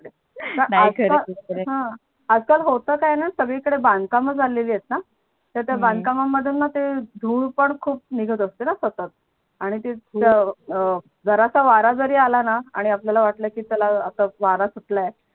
आज काल होत काय णा सगळीकडे बांधकाम झालेली आहेत णा तर त्या बांधकामामधूना ते धूळ पण खूप निघत असते णा सतत आणि ते जरा सा वारा जरी आला णा आणि आपल्याला वाटलं की चला आता वारा सुटला आहे.